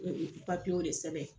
E E Papiyew de sɛbɛn